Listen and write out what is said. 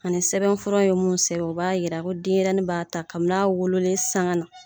Ani sɛbɛn fura ye mun sɛbɛn u b'a yira ko denyɛrɛ b'a ta kami n'a wololen sanga na